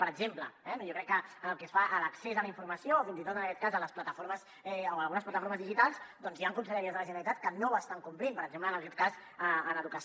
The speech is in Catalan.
per exemple jo crec que pel que fa a l’accés a la informació o fins i tot en aquest cas a les plataformes o a algunes plataformes digitals doncs hi han conselleries de la generalitat que no ho estan complint per exemple en aquest cas en educació